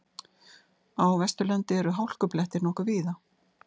Á Vesturlandi eru hálkublettir nokkuð víða